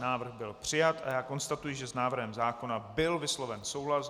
Návrh byl přijat a já konstatuji, že s návrhem zákona byl vysloven souhlas.